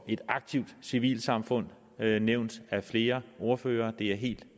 et aktivt civilsamfund nævnt af flere ordførere det er helt